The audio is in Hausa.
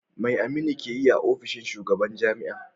Me Aminu yake yi a ofishin shugaban jami'a?